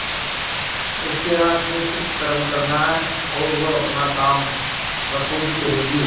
उसके हाथ में सिर्फ कर्म करना है और वह अपना काम बखूबी करेगी